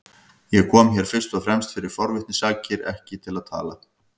Ég kom hér fyrst og fremst fyrir forvitni sakir, ekki til að tala.